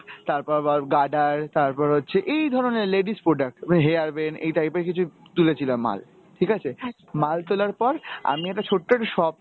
তারপর আবার গাডার, তারপর হচ্ছে এই ধরনের ladies product. তারপরে hairband এই type এর কিছু তুলেছিলাম মাল, ঠিক আছে? মাল তোলার পর আমি একটা ছোট্ট একটা shop